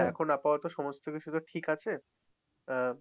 এখন আপাতত সমস্ত কিছু ঠিক আছে। আহ